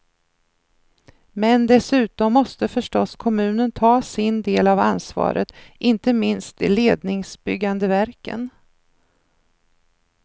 Men dessutom måste förstås kommunen ta sin del av ansvaret, inte minst de ledningsbyggande verken.